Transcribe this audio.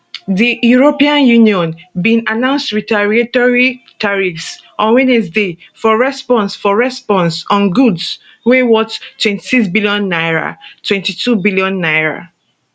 di eu bin announce retaliatory tariffs on wednesday for response for response on goods wey worth 26bn 22bn